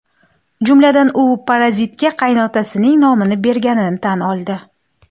Jumladan, u bir parazitga qaynotasining nomini berganini tan oldi.